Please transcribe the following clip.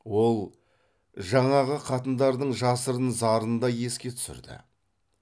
ол жаңағы қатындардың жасырын зарын да еске түсірді